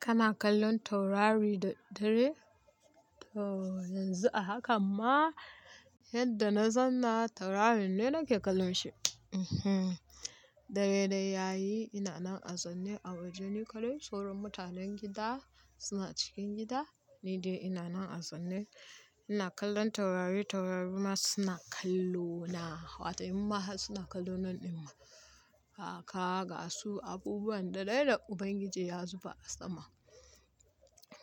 Kana kallon taurari da dare? To yanzu a hakan ma yadda na zanna taurari ne nake kallon shi. Ehen, dare dai yayi ina nan a zaune a wajeni kaɗai. Sauran mutanen gida suna cikin gida ni dai ina nan a zaune ina kallon taurari taurari ma suna kallo na. Wata amma suna kallo nan ɗin ma. Haka ga su abubuwan da dai da Ubangiji ya zuba a sama.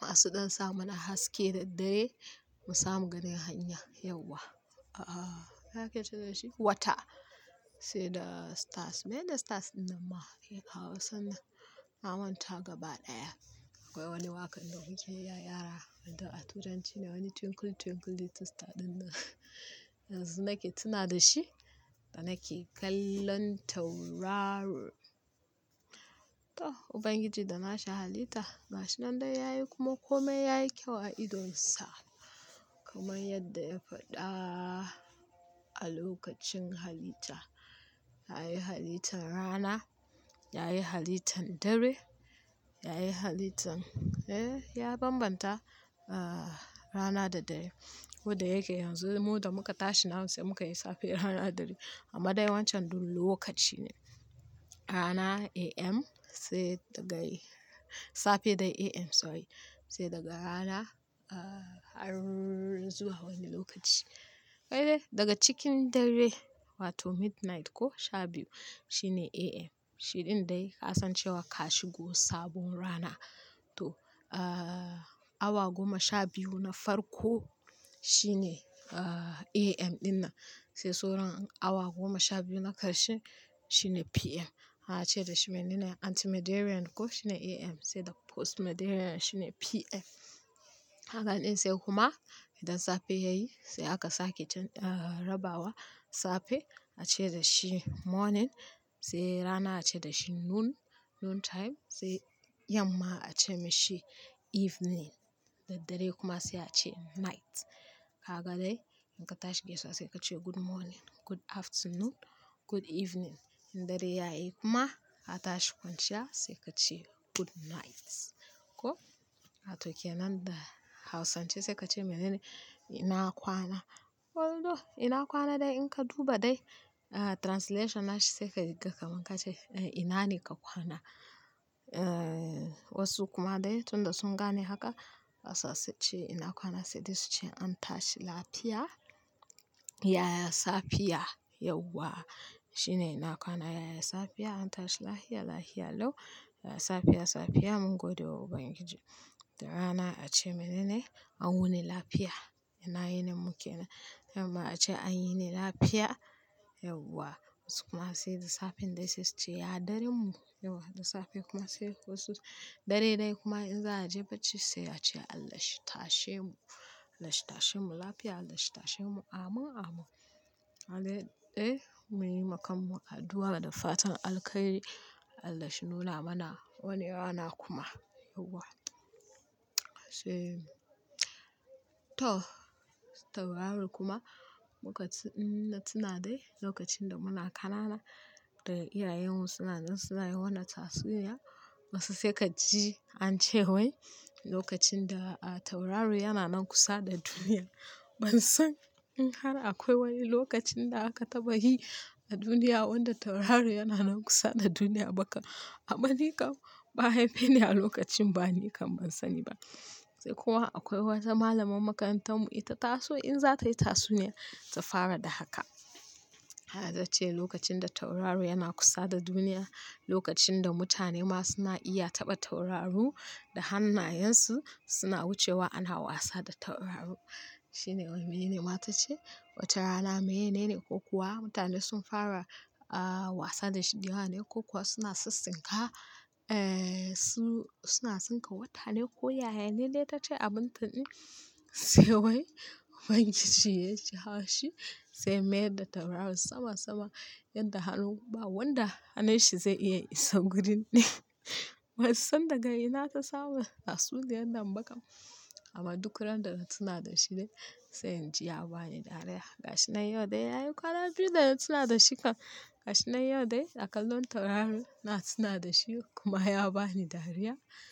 Wa su ɗan sa mana haske da dare mu samu ganin hanya yauwa. A a haka yake cewa shi wata, sai da stars. Mene da stars ɗin nan ma? Ke Hausa na, na manta gaba ɗaya. Akwai wani waƙar da Ubangiji ya yara wanda a Turanci ne wani "Twinkle twinkle little star" ɗin nan. Yanzu nake tuna da shi da nake kallon tauraro. To Ubangiji da nahi a halitta, mashin nan dai yayi kuma kome yayi kyau a idon Sa. Kaman yadda ya faɗa a lokacin halitta. Ya yi halittan rana, ya yi halittan dare, ya yi halittan eh, ya bambanta, ah rana da dare. Wadda yake yanzu mu da muka tashi nan sai muka yi safe rana dare. Amma dai wancan dole lokaci ne. Rana AM sai daga safe dai AM sorry sai daga rana ah har zuwa wani lokaci. Wai dai daga cikin dare wato midnight ko sha biyu shine AM. Shi ɗin dai ka san cewa ka shigo sabon rana. To ah awa goma sha biyu na farko shine ah AM ɗin nan. Sai sauran awa goma sha biyu na karshe shine PM. Haka ake cewa shi mainene Ante meridiem ko shine AM sai da post meridiem shine PM. Haka ɗai sai kuma idan safe yayi sai aka sake rabawa. Safe ake cewa shi morning sai rana ake cewa shi noon, noon time sai yamma ake mishi evening, da dare kuma sai ace night. Haka dai in ka tashi gida safe ka ce good morning, good afternoon, good evening. In dare yayi kuma ka tashi kwanciya sai ka ce good night ko. Wato ke nan da Hausance sai ka ce mainene ina kwana. Although ina kwana dai in ka duba dai ah translation na shi sai ka riƙa kaman ka ce ina ne ka kwana. Eh wasu kuma dai tunda sun gane haka a sassa ce ina kwana sai dai su ce an tashi lafiya, yaya safiya yauwa. Shi ne ina kwana yaya safiya an tashi lafiya, lafiya lau, yaya safiya, safiya mun gode wa Ubangiji. Da rana ake cewa shi mainene an wuni lafiya. Ina yin min mu ke nan. Amma ake cewa an yi ni lafiya yauwa. Wasu kuma sai da safe dai sai su ce ya dare mu yauwa. Da safe kuma sai wasu dare dai kuma in za a je bacci sai ake cewa Allah shi tashe mu. Allah shi tashe mu lafiya, Allah shi tashe mu amin, amin. Haka dai dai mu yi makamun addu'a da fatan alkai Allah shi nuna mana wani rana kuma yauwa. Sai to tauraro kuma muka-- ina tuna dai lokacin da muna ƙanana da iyayen mu suna jan suna yi wannan tatsuniya wasu sai ka ji an ce wai lokacin da tauraro yana nan kusa da duniya. Ban san in har akwai wani lokacin da aka taɓa yi a duniya wanda tauraro yana nan kusa da duniya ba kam. Amma ni kam ba'a haifeni a lokacin ba ni kam ban sani ba. Sai kuma akwai wata malamar makarantar mu ita taso in za ta yi tatsuniya ta fara da haka. Haka ta ce lokacin da tauraro yana kusa da duniya, lokacin da mutane ma suna iya taɓa tauraro da hannayen su suna wucewa ana wasa da tauraro. Shine wane mainene ma ta ce wata rana mainene ko kuwa mutane sun fara ah wasa da shi dai rana ko kuwa suna sassinka. Eh su suna tsinka wata ne ko yaya. Mainene ta ce abun ta ɗin sai wai Ubangiji ya ji haushi sai ya mayar da tauraron sama sama yadda hannu ba wanda hannun shi zai iya isa gurin ne. Ban san daga ina ta samu tatsuniyar nan ba kam. Amma duk ran da na tuna da shi dai sai in ji ya ba ni dariya. Ga shi nan yau dai yayi kwana biyu da na tuna da shi kam. Ga shi nan yau dai a kallon tauraro na tuna da shi kuma ya ba ni dariya.